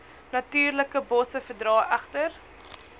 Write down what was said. natuurlikebosse verdra egter